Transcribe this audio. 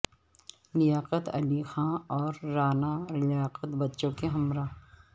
لیاقت علی خان اور رعنا لیاقت بچوں کے ہمراہ